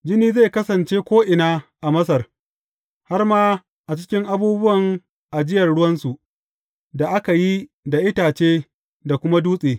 Jini zai kasance ko’ina a Masar, har ma a cikin abubuwan ajiyar ruwansu da aka yi da itace da kuma dutse.